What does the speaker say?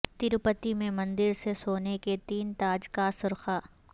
تروپتی میں مندر سے سونے کے تین تاج کاسرقہ